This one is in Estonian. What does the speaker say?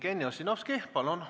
Jevgeni Ossinovski, palun!